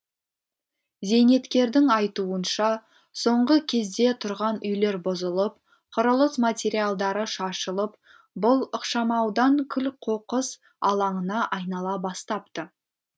зейнеткердің айтуынша соңғы кезде тұрған үйлер бұзылып құрылыс материалдары шашылып бұл ықшамаудан күл қоқыс алаңына айнала бастапты